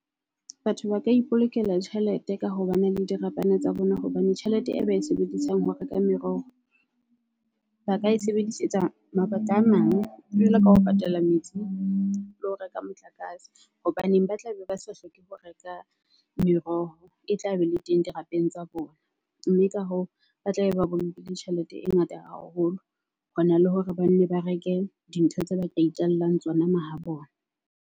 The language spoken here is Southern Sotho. Batho ba ka ipolokela tjhelete ka ho ba na le dirapana tsa bona hobane tjhelete e ba e sebedisang ho reka meroho ba ka e sebedisetsa mabaka a mang. Jwalo ka ho patala metsi le ho reka motlakase. Hobaneng ba tlabe ba sa hloke ho reka meroho e tla be le teng dirapeng tsa bona. Mme ka hoo, ba tlabe ba bolokile tjhelete e ngata haholo. Hona le hore ba nne ba reke di ntho tse ba tla itjallang tsona mahabona.